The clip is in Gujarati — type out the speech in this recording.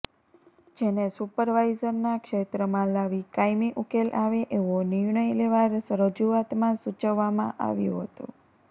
જેેને સુપરવાઈઝરના ક્ષેત્રમાં લાવી કાયમી ઉકેલ આવે એવો નિર્ણય લેવા રજૂઆતમાં સુચવવામાં આવ્યું હતું